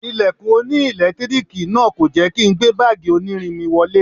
Ilẹ̀kùn oní ẹ̀lẹ́tíríìkì náà kò jẹ́ kí n gbé báàgì onírin mi wọlé.